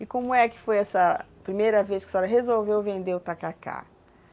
E como é que foi essa primeira vez que a senhora resolveu vender o tacacá?